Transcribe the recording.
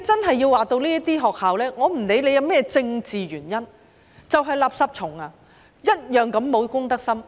對於這些學校，我不管有何政治原因，它們便是"垃圾蟲"，同樣沒有公德心。